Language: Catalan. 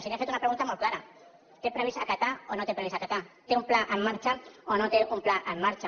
i li he fet una pregunta molt clara té previst acatar o no té previst acatar té un pla en marxa o no té un pla en marxa